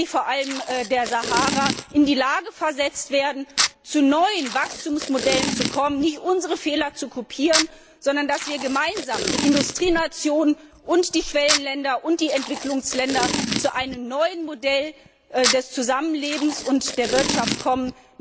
Länder vor allem südlich der Sahara in die Lage versetzt werden, zu neuen Wachstumsmodellen zu kommen, nicht unsere Fehler zu kopieren, sondern damit wir gemeinsam die Industrienationen, die Schwellenländer und die Entwicklungsländer zu einem neuen Modell des Zusammenlebens und der Wirtschaft kommen.